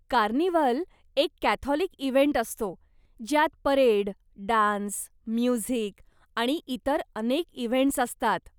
Carnival एक Catholic event असतो ज्यात परेड, डान्स, म्युझिक आणि इतर अनेक इव्हेंट्स असतात.